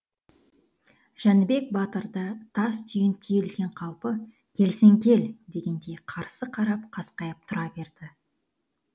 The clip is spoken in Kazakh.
жәнібек батыр да тас түйін түйілген қалпы келсең кел дегендей қарсы қарап қасқайып тұра берді